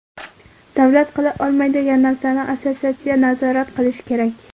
Davlat qila olmaydigan narsani assotsiatsiya nazorat qilish kerak.